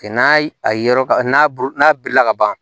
N'a a ye yɔrɔ ka n'a n'a bilila ka ban